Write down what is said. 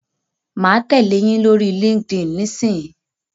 Mà á tẹ̀lẹ́ yín lórí Linkedin nísìyí.